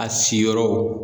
A si yɔrɔw